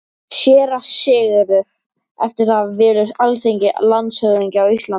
SÉRA SIGURÐUR: Eftir það velur Alþingi landshöfðingja á Íslandi.